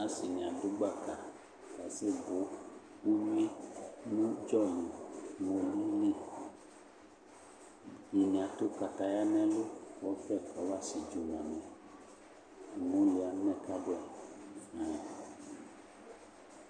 Ase ne ado gbaka asɛ bo uwt no udzɔ li no uwi li Ɛdene ato kataya nɛlu ko ɔbɛ kɔfa sɛtso ma mɛUmoli amɛ ka boɛ fayin